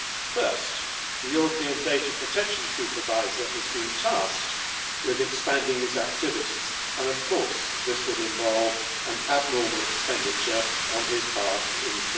First, the European Data Protection Supervisor has been tasked with expanding his activities, and of course this would involve an abnormal expenditure on his part in